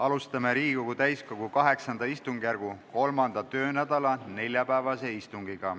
Alustame Riigikogu täiskogu VIII istungjärgu 3. töönädala neljapäevast istungit.